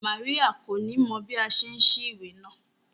Maria ko ni mọ bi a ṣe n sí ìwé náà.